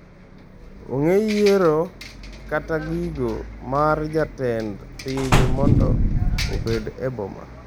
Onge yiero kata giko mar jatend piny mondo obed e boma.